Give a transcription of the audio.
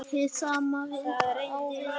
Hið sama á við hér.